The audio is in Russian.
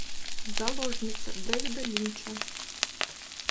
заложница дэвида линча